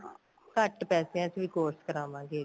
ਘੱਟ ਪੈਸੇਆਂ ਚ ਵੀ course ਕਰਾਵਾਂਗੇ ਇੱਕ